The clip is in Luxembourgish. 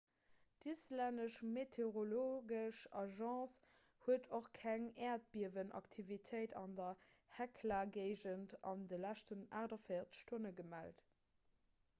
d'islännesch meteorologesch agence huet och keng äerdbiewenaktivitéit an der hekla-géigend an de leschten 48 stonne gemellt